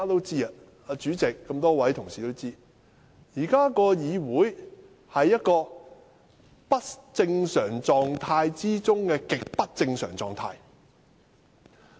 主席和一眾同事都知道，議會目前處於不正常狀態中的極不正常狀態。